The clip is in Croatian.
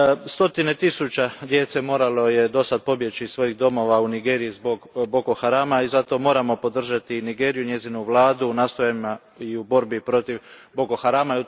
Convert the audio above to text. Stotine tisuće djece moralo je dosad pobjeći iz svojih domova u Nigeriji zbog Boko Harama i zato moramo podržati Nigeriju i njezinu vladu u nastojanjima i u borbi protiv Boko Harama.